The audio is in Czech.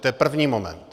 To je první moment.